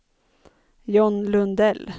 John Lundell